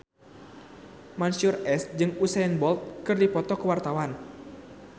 Mansyur S jeung Usain Bolt keur dipoto ku wartawan